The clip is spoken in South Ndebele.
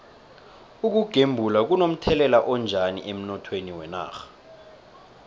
ukugembula kuno mthelela onjani emnothweni wenarha